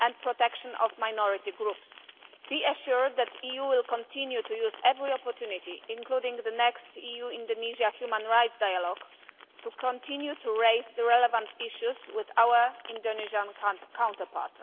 and protection of minority groups. Be assured that the EU will continue to use every opportunity, including the next EU Indonesia Human Rights Dialogue, to continue to raise the relevant issues with our Indonesian counterparts.